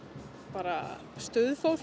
bara